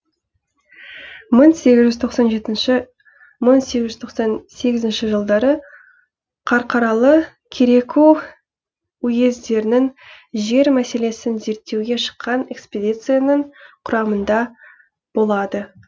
мың сегіз жүз тоқсан жетінші мың сегіз жүз тоқсан сегізінші жылдары қарқаралы кереку уездерінің жер мәселесін зерттеуге шыққан экспедицияның құрамында болады